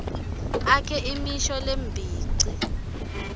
akhe imisho lembici